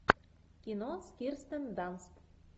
кино с кирстен данст